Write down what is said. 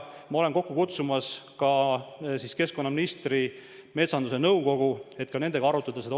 Ma olen kokku kutsumas ka keskkonnaministri metsandusnõukogu, et nendegagi olukorda arutada.